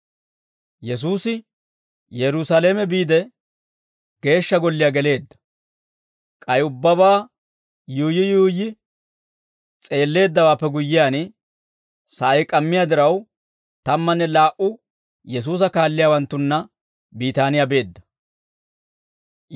Yesuusi Yerusaalame biide, Geeshsha Golliyaa geleedda; k'ay ubbabaa yuuyyi yuuyyi s'eelleeddawaappe guyyiyaan, sa'ay k'ammiyaa diraw, tammanne laa"u Yesuusa kaalliyaawanttunna Biitaaniyaa beedda.